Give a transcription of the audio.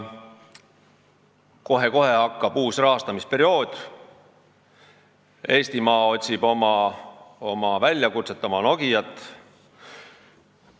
Kohe-kohe hakkab uus rahastamisperiood ja Eestimaa otsib oma väljakutset, oma Nokiat.